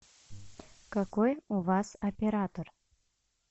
какой у вас оператор